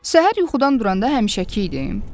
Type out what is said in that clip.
Səhər yuxudan duranda həmişəki idim.